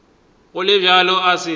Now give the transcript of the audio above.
go le bjalo a se